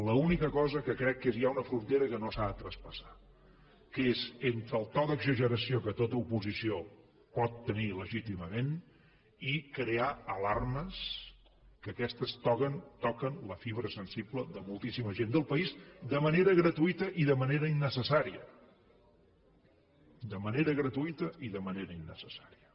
l’única cosa que crec que és ja una frontera que no s’ha de traspassar que és entre el to d’exageració que tota oposició pot tenir legítimament i crear alarmes que aquestes toquen la fibra sensible de moltíssima gent del país de manera gratuïta i de manera innecessària de manera gratuïta i de manera innecessària